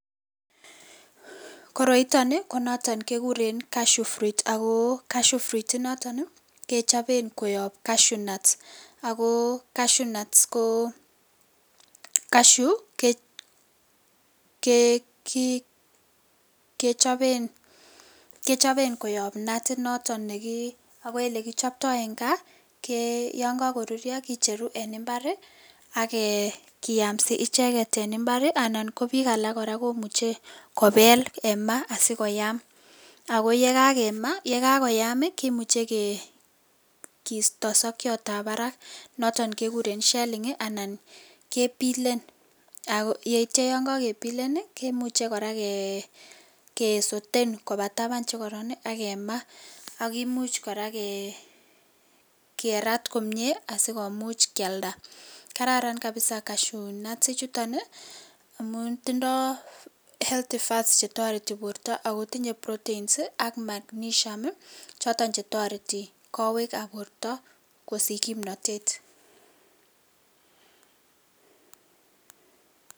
koroiton iih konoton kegureen cashew fruit ,agoo cashew fruit inoton iih kechoben koyoob cashew nuts agoo cashew nuts koo cashew um kee um kechoben koyoob natinoton negiii, ago elekichoptoo en gaa kee yon kogoruryo kicheruu en imbaar iih agee giamsi icheget en imbaar anan goo biik alak komuche kobeel en maah asigoyaam agoyegagoyaam iih kimuche gee kiistosokyoot ab barak naton gegureen shelling anan kepilen yeityo yon kogebilen iih kimuche koraa gee soten kobataban chegoron ak kemaah ak kimuch koraa um gee um raat komyee asigomuch kyalda kararan kabiza cashew nuts ichuton iih amun tindoo healty fats chetoretii borto ago tinye proteins ak magnesium choton chetoreti kowek ab borto kosich komnoteet {pause]